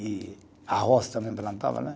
E arroz também plantava né